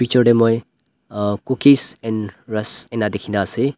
picture tae moi uhh cookies and rusk ena dikhi na ase.